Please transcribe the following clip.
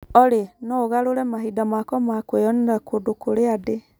Olly, no ũgarũre mahinda makwa ma kwĩyonera kũndũ kũrĩa ndĩ.